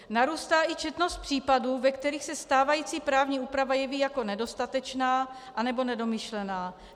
Narůstá i četnost případů, ve kterých se stávající právní úprava jeví jako nedostatečná anebo nedomyšlená.